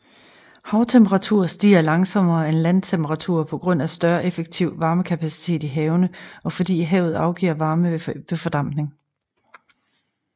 Havtemperaturer stiger langsommere end landtemperaturer på grund af større effektiv varmekapacitet i havene og fordi havet afgiver varme ved fordampning